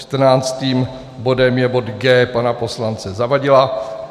Čtrnáctým bodem je bod G pana poslance Zavadila.